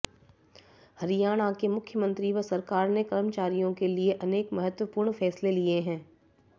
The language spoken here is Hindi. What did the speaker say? हरियाणा के मुख्यमंत्री व सरकार ने कर्मचारियों के लिए अनेक महत्वपूर्ण फैसले लिए हैं